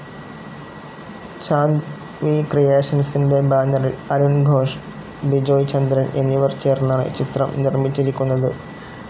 Chand V ക്രിയേഷൻസിന്റെ ബാനറിൽ അരുൺ ഘോഷ്, ബിജോയ് ചന്ദ്രൻ എന്നിവർ ചേർന്നാണ് ചിത്രം നിർമ്മിച്ചിരിക്കുന്നത്.